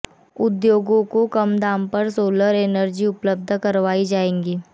उद्योगों को कम दाम पर सोलर एनर्जी उपलब्ध करवाई जाएगी